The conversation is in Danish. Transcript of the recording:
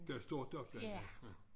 Der er stort opland ja ja